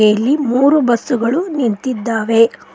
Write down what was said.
ಇಲ್ಲಿ ಮೂರು ಬಸ್ಸು ಗಳು ನಿಂತಿದ್ದಾವೆ.